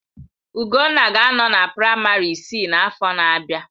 Ugonna ga-anọ na praịmarị isii n'afọ na-abịa.